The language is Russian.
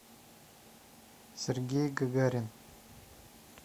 сергей гагарин